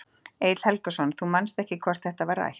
Egill Helgason: Þú manst ekki hvort þetta var rætt?